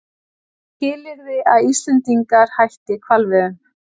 Skilyrði að Íslendingar hætti hvalveiðum